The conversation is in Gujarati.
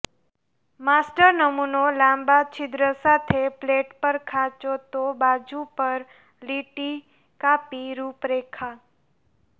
માસ્ટર નમૂનો લાંબા છિદ્ર સાથે પ્લેટ પર ખાંચો તો બાજુ પર લીટી કાપી રૂપરેખા